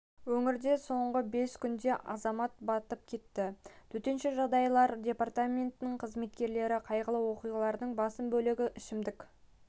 өңірде соңғы бес күнде азамат батып кетті төтенше жағдайлар департаментінің қызметкерлері қайғылы оқиғалардың басым бөлігі ішімдік